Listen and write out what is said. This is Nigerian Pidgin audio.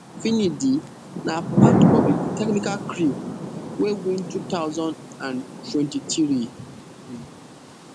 finidi na part of di technical crew wey win two thousand and twenty-three um